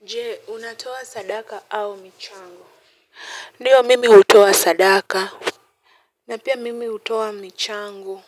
Nje unatoa sadaka au michango? Ndiyo mimi hutoa sadaka na pia mimi hutoa michango